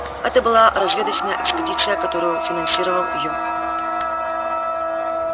это была разведочная экспедиция которую финансировал ю